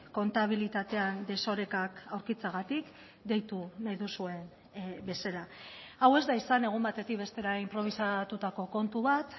kontabilitatean desorekak aurkitzeagatik deitu nahi duzuen bezala hau ez da izan egun batetik bestera inprobisatutako kontu bat